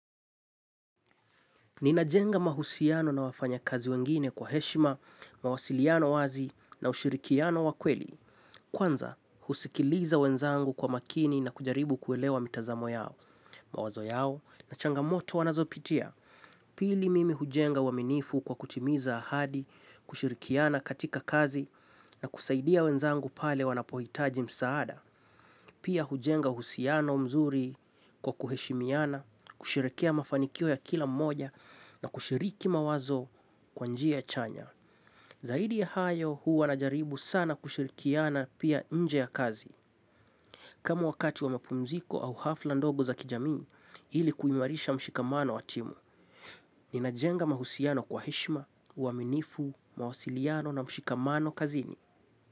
Ninajenga mahusiano na wafanyakazi wengine kwa heshima, mawasiliano wazi na ushirikiano wa kweli. Kwanza, husikiliza wenzangu kwa makini na kujaribu kuelewa mitazamo yao, mawazo yao na changamoto wanazopitia. Pili mimi hujenga uaminifu kwa kutimiza ahadi, kushirikiana katika kazi na kusaidia wenzangu pale wanapohitaji msaada. Pia hujenga uhusiano mzuri kwa kuheshimiana, kusherekea mafanikio ya kila mmoja na kushiriki mawazo kwa njia chanya. Zaidi ya hayo, huwa najaribu sana kushirikiana pia nje ya kazi. Kama wakati wa mapumziko au hafla ndogo za kijamii, ili kuimarisha mshikamano wa timu. Ninajenga mahusiano kwa heshima, uaminifu, mawasiliano na mshikamano kazini.